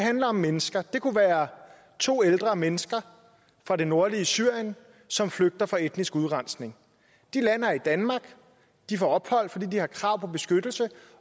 handler om mennesker det kunne være to ældre mennesker fra det nordlige syrien som flygter fra etnisk udrensning de lander i danmark de får ophold fordi de har krav på beskyttelse